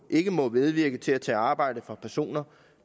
ikke må medvirke til at tage arbejde fra personer